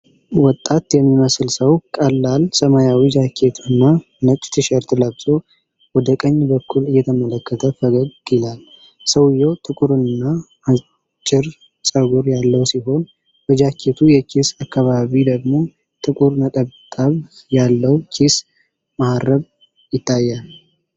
ወጣት የሚመስል ሰው ቀላል ሰማያዊ ጃኬት እና ነጭ ቲሸርት ለብሶ ወደ ቀኝ በኩል እየተመለከተ ፈገግ ይላል። ሰውየው ጥቁርና አጭር ጸጉር ያለው ሲሆን፣ በጃኬቱ የኪስ አካባቢ ደግሞ ጥቁር ነጠብጣብ ያለው ኪስ መሃረብ ይታያል።